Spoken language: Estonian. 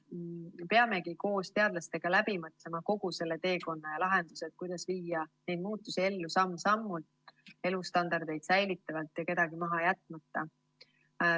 Me peamegi koos teadlastega läbi mõtlema kogu selle teekonna ja lahendused, kuidas viia neid muutusi ellu samm-sammult, elustandardit säilitavalt ja kedagi maha jätmata.